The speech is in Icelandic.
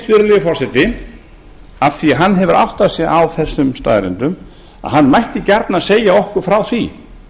virðulegi forseti af því að hann hefur áttað sig á þessum staðreyndum að hann mætti gjarnan segja okkur frá því